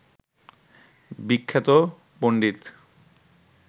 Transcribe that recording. বিখ্যাত পন্ডিত